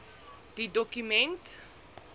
de doku ment